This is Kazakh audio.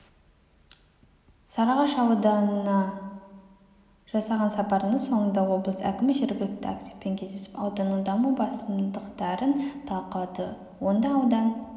сарыағаш ауданына жасаған сапарының соңында облыс әкімі жергілікті активпен кездесіп ауданның даму басымдықтарын талқылады онда аудан